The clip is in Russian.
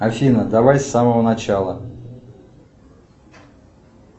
афина давай с самого начала